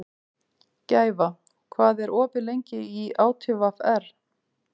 Gæfa, hvað er opið lengi í ÁTVR?